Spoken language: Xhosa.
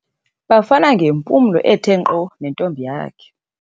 Bafana ngempumlo ethe nkqo nentombi yakhe.